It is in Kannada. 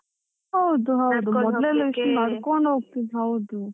ಹೌದು ಹೌದು ಎಷ್ಟು ನಡ್ಕೊಂಡು ಹೋಗತಿದ್ ಹೌದು.